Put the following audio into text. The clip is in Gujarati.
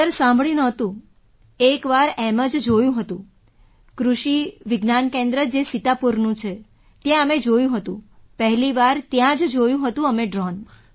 સર સાંભળ્યું નહોતું એક વાર એમ જ જોયું હતું કૃષિ વિજ્ઞાન કેન્દ્ર જે સીતાપુરનું છે ત્યાં અમે જોયું હતું પહેલી વાર ત્યાં જોયું હતું અમે ડ્રૉન